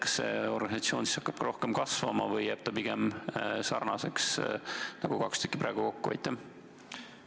Kas see organisatsioon hakkab kasvama või jääb pigem nii suureks, nagu moodustavad praegu kaks tükki kokku?